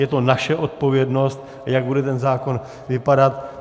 Je to naše odpovědnost, jak bude ten zákon vypadat.